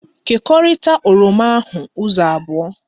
Kekọrita oroma ahụ ụzọ abụọ!